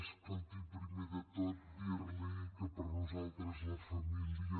escolti primer de tot dir li que per nosaltres la família